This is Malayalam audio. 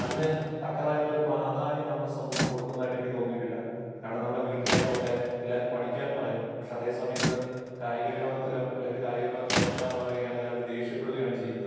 അതിന് തക്കതായിട്ടുള്ള ഒരു പ്രാധാന്യം നമ്മുടെ സമൂഹം കൊടുക്കുന്നതായിട്ട് എനിക്ക് തോന്നിയിട്ടില്ല. കാരണം നമ്മുടെ വീട്ടില് ആയിക്കോട്ടെ എല്ലാരും പഠിക്കാൻ പറയുന്നു. പക്ഷേ അതേ സമയത്ത് ഒരു കായിക വിനോദത്തിലോ, ഒരു കായിക വിനോദത്തിലേർപ്പെടാൻ പറയുകയാണെങ്കിൽ അവര് ദേഷ്യപ്പെടുകയാണ് ചെയ്യുന്നത്.